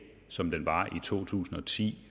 som den var i to tusind og ti